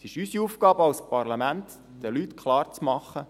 Es ist unsere Aufgabe als Parlament, den Leuten klarzumachen: